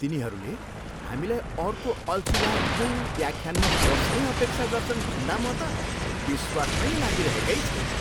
तिनीहरूले हामीलाई अर्को अल्छिलाग्दो व्याख्यानमा बस्ने अपेक्षा गर्छन् भन्दा म त विश्वास नै लागिरहेकै छैन।